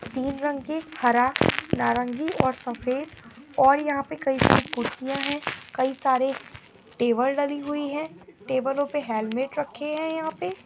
तीन रंग के हरा नारंगी और सफ़ेद और यहां पे कई सारे कुर्सियां हैं कई सारे टेबल डली हुई हैं टेबलो पे हलमेट रखे हैं यहां पे --